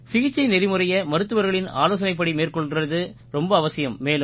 சிகிச்சை நெறிமுறையை மருத்துவர்களின் ஆலோசனைப்படி மேற்கொள்றது ரொம்பவும் அவசியம்